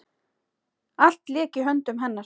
Allt lék í höndum hennar.